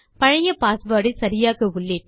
பழைய பாஸ்வேர்ட் ஐ சரியாக உள்ளிட்டு